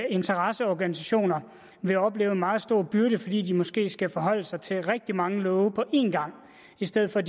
interesseorganisationer vil opleve en meget stor byrde fordi de måske skal forholde sig til rigtig mange love på en gang i stedet for